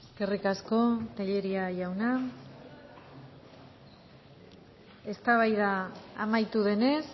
eskerrik asko telleria jauna eztabaida amaitu denez